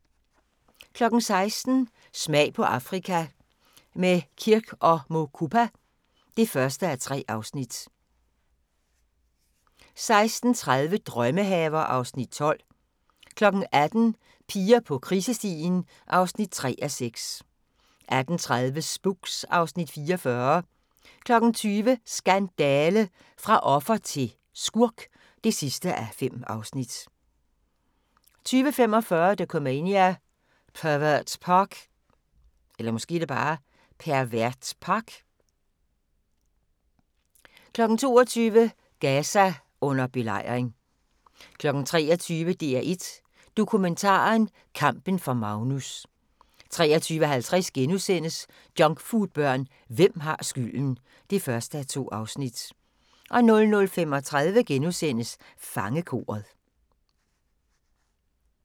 16:00: Smag på Afrika – med Kirk & Mukupa (1:3) 16:30: Drømmehaver (Afs. 12) 18:00: Piger på krisestien (3:6) 18:30: Spooks (Afs. 44) 20:00: Skandale! – fra offer til skurk (5:5) 20:45: Dokumania: Pervert Park 22:00: Gaza under belejring 23:00: DR1 Dokumentaren: Kampen for Magnus 23:50: Junkfoodbørn – hvem har skylden? (1:2)* 00:35: Fangekoret *